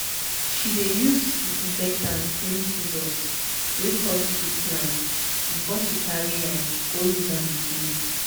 she dey use disinfectant clean scissors wey touch sick plant before she carry am go use am again.